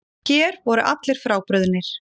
Hér voru allir frábrugðnir.